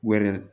Wɛrɛ